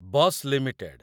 Bash limited